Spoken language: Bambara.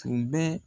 Tun bɛ